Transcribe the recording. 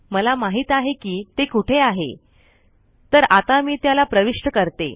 मला माहित आहे कि ते कुठे आहे तर आता मी त्याला प्रविष्ट करते